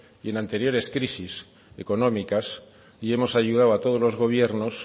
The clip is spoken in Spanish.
en anteriores crisis económicas y hemos ayudado a todos los gobiernos